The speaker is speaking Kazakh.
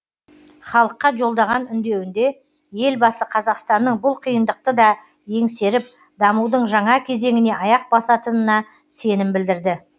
халыққа жолдаған үндеуінде елбасы қазақстанның бұл қиындықты да еңсеріп дамудың жаңа кезеңіне аяқ басатынына сенім білдірді